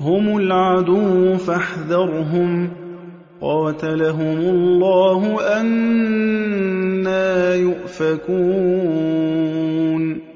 هُمُ الْعَدُوُّ فَاحْذَرْهُمْ ۚ قَاتَلَهُمُ اللَّهُ ۖ أَنَّىٰ يُؤْفَكُونَ